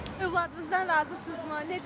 Övladınızdan razısınızmı?